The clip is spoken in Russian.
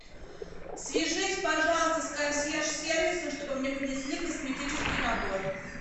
свяжись пожалуйста с консьерж сервисом чтобы мне принесли косметический набор